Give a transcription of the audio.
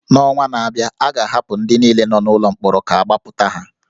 N’ọnwa na-abịa, a ga-ahapụ ndị niile nọ n’ụlọ mkpọrọ ka agbapụta ha